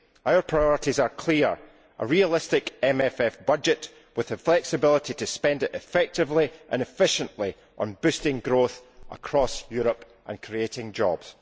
Our priorities are clear a realistic MFF budget with the flexibility to spend it effectively and efficiently on boosting growth across Europe and creating jobs.